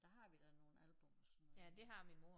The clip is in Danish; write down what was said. Der har vi da nogle album og sådan noget